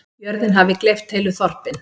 Jörðin hafi gleypt heilu þorpin.